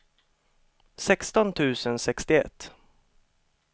sexton tusen sextioett